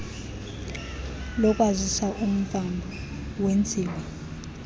lokwazisa umvambo wenziwa